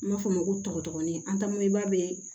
N b'a fɔ ma ko tɔgɔdɔgɔnin an ta mobili ba bɛ